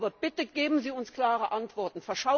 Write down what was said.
Aber bitte, geben Sie uns klare Antworten!